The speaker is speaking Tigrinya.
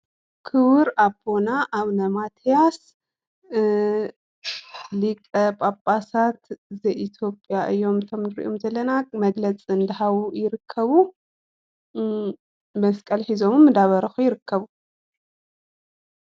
ክቡር ኣቦና ኣውነ ማትያስ እ ሊቀ ፓፓሳት ዘኢተዮጰያ እዮም። እቶም ንርኦም ዘለና መግለፂ እዳሃቡ ይርከቡ እም መስቀል ሕዞም እዳባረኹ ይርከቡ።